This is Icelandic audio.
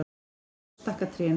En svo stækka trén.